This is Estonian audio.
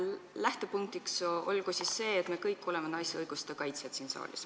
Lähtepunktiks olgu see, et me kõik siin saalis oleme naiste õiguste kaitsjad.